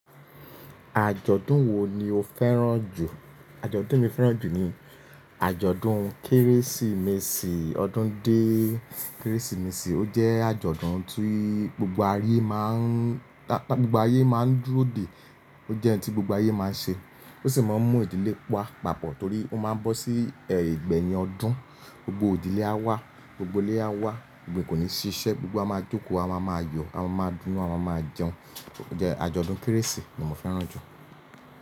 Àjọ̀dún wo ni o fẹ́ràn jù? Àjọ̀dún mi fẹ́ràn jù ni àjọ̀dún Kérésìmesì, ọdún dé Kérésìmesì. Ó jẹ́ àjọ̀dún tí gbogbo aré máa ń, tá gbogbo ayé máa ń dúró dè. Ó jẹ́ ẹni tí gbogbo ayé máa ń ṣe. Ó sì máa ń mú ìdílé wa pa-pàpọ̀ torí ó máa ń bọ́ sí ẹgbẹ́ yẹ ọdún, gbogbo ìdílé á wá, gbogbo ilé á wá, kò ní ṣiṣẹ́, gbogbo wa máa jókòó, a máa máa yọ̀, a máa máa dún, a máa máa jẹun. Ó jẹ́ àjọ̀dún Kérésìmesì ni mo fẹ́ràn jù.